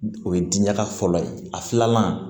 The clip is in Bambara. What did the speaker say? O ye diya fɔlɔ ye a filanan